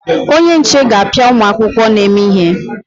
Onye nche ga-apịa ụmụ akwụkwọ na-eme ihe.